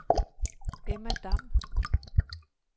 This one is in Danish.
Emma Dam